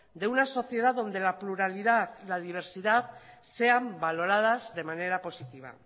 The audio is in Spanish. de una sociedad donde la pluralidad y la diversidad sean valoradas de manera positiva